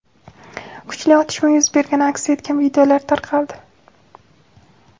kuchli otishma yuz bergani aks etgan videolar tarqaldi.